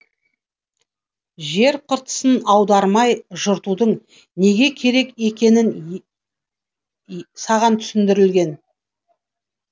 жер қыртысын аудармай жыртудың неге керек екенін саған түсіндірілген